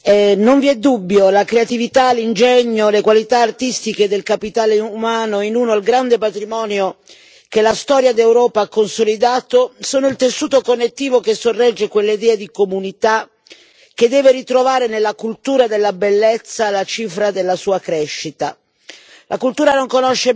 Signor Presidente, onorevoli colleghi, non vi è dubbio che la creatività, l'ingegno, le qualità artistiche del capitale umano, ossia il grande patrimonio che la storia d'Europa ha consolidato, siano il tessuto connettivo che sorregge quell'idea di comunità che deve ritrovare nella cultura della bellezza la cifra della sua crescita.